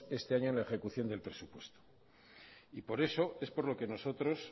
este año en la ejecución del presupuesto por eso es por lo que nosotros